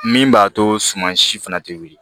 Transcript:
Min b'a to suma si fana tɛ wuli